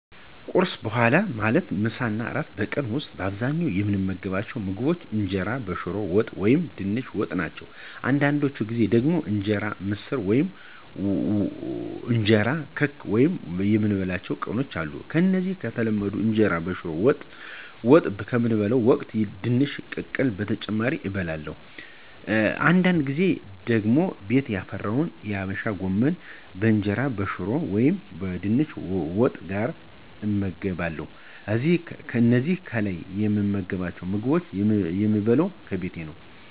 ከቁርስ በኋላ ማለትም ለምሳ እና ለእራት በቀን ዉስጥ በአብዛኛዉ የምመገባቸዉ ምግቦች እንጀራ በሽሮ ወጥ ወይም በድንች ወጥ ናቸው። አንዳንድ ጊዜ ደግሞ እንጀራ በምስር ወጥ ወይም እንጀራ በክክ ወጥ የምበላባቸዉ ቀኖችም አሉ። ከዚህ ከተለመደዉ እንጀራ በሽሮ ወጥ በምበላበት ወቅት ድንች ቅቅል በተጨማሪነት እበለለሁ፤ አንዳድ ጊዜ ደግሞ ቤት ያፈራውን የአበሻ ጎመን ከእንጀራ በሽሮ ወጥ ወይም በድንች ወጥ ጋር እመገባለሁ። እነዚህን ከላይ የምመገባቸዉን ምግቦች የምበለው ከቤቴ ነው።